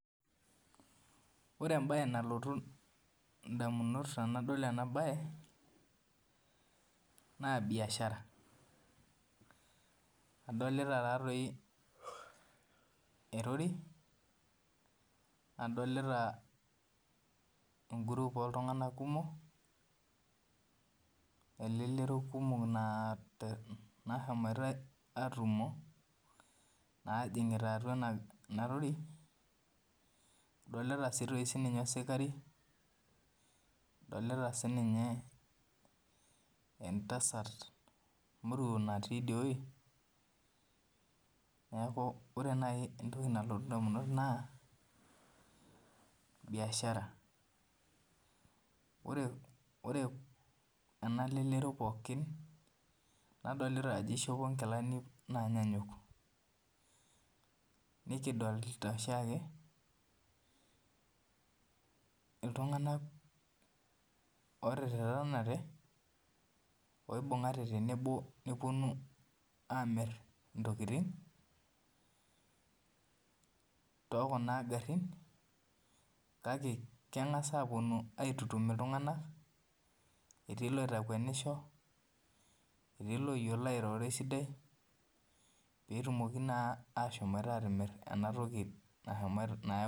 Ore embae nalotu ndamunot tanadol ena bae na biashara adolita taatoi erori nadolta engrup oltunganak kumok elelero kumok nashomoita atumo najingita atua enaroro adolita sininye osikari adolita sinye entasat moruo natii inewueji ore nai entoki nalotu ndamunot na biashara ore enalelero pooki nadolta ajo ishopo nkilani nanyanyuk nikidolta oshiake ltunganak otererenate oibungate tenebo neponu amir ntokitin tokuna garin kake kengasa aponu aitutum ltunganak etii loitakwenisho, etii loyiolo airoro esidai petumoki na ashomo atimir enatoki.